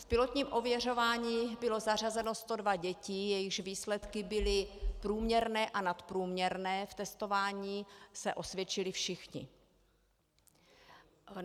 V pilotním ověřování bylo zařazeno 102 dětí, jejichž výsledky byly průměrné a nadprůměrné, v testování se osvědčily všechny.